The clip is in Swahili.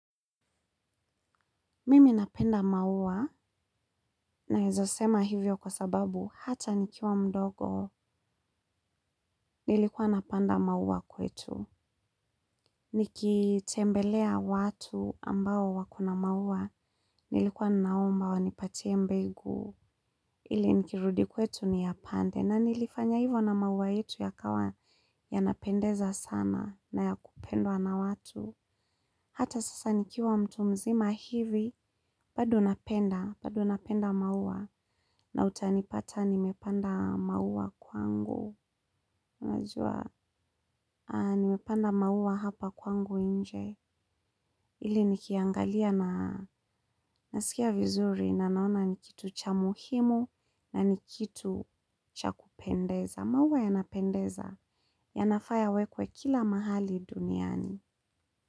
Mimi napenda maua naeza sema hivyo kwa sababu hata nikiwa mdogo nilikuwa napanda maua kwetu. Nikitembelea watu ambao wako na maua nilikuwa naomba wanipatie mbegu. Ili nikirudi kwetu niyapande na nilifanya hivyo na maua yetu yakawa yanapendeza sana na ya kupendwa na watu. Hata sasa nikiwa mtu mzima hivi, bado napenda, bado napenda maua na utanipata nimepanda maua kwangu. Najua, nimepanda maua hapa kwangu nje, ili nikiangalia na nasikia vizuri na naona ni kitu cha muhimu na ni kitu cha kupendeza. Maua yanapendeza, yanafaa yawekwe kila mahali duniani.